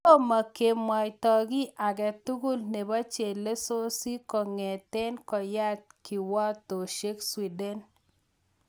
Tomo kemwaito ki agetugul nebo chelesosyek kong'etegei koyat kiwatosyek Sweden